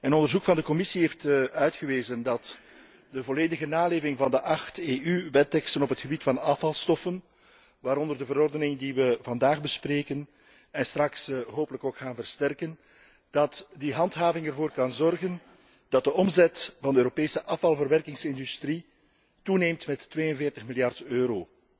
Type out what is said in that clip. Onderzoek van de Commissie heeft uitgewezen dat de volledige naleving van de acht EU wetteksten op het gebied van afvalstoffen, waaronder de verordening die wij vandaag bespreken en straks hopelijk ook versterken, ervoor kan zorgen dat de omzet van de Europese afvalverwerkingsindustrie toeneemt met 42 miljard euro